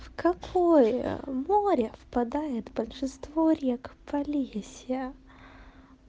в какое море впадает большинство рек полесья